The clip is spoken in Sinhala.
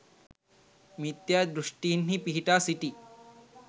මිථ්‍යා දෘෂ්ඨින්හි පිහිටා සිටි